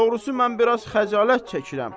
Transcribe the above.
Doğrusu mən biraz xəcalət çəkirəm.